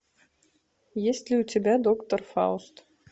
есть ли у тебя доктор фауст